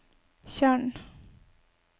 tjern